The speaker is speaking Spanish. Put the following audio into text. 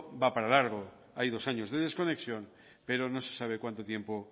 va para largo hay dos años de desconexión pero no se sabe cuánto tiempo